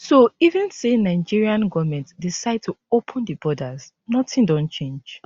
so even say nigerian goment decide to open di borders nothing don change